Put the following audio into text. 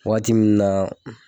Waati minnu na